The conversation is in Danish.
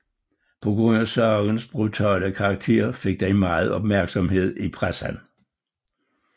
På grund af sagens brutale karakter fik den meget opmærksomhed i pressen